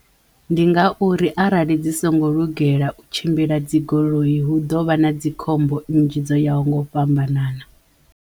Ndi nga uri arali dzi songo lugela u tshimbila dzigoloi hu ḓo vha na dzikhombo nnzhi dzo ya ho nga u fhambanana.